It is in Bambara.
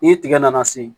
Ni tigɛ nana se